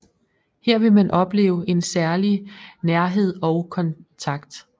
Her vil man opleve en særlig nærhed og kontakt